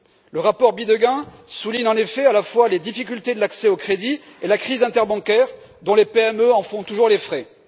Le rapport Bidegain souligne en effet à la fois la difficulté d'accès au crédit et la crise interbancaire, dont les PME font toujours les frais.